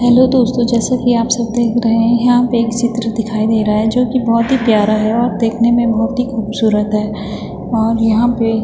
hello दोस्तों जैसा की आप सब देख रहें हैं यहाँ पे एक चित्र दिखाई दे रहा है जो कि बहोत ही प्यारा है और देखने में बहोत ही ख़ूबसूरत है और यहाँ पे --